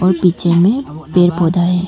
पीछे में पेड़ पौधा है।